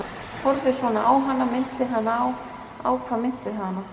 Horfði svona á hana, minnti hana á- á hvað minnti það hana?